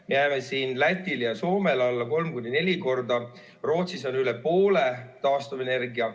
Me jääme siin Lätile ja Soomele alla kolm kuni neli korda, Rootsis on üle poole taastuvenergia.